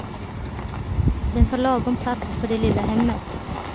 Den tar lagom plats för det lilla hemmet.